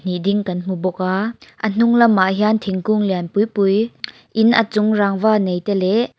ih ding kan hmu bawk a a hnunglamah hian thingkung lian pui pui in a chung rangva nei te leh--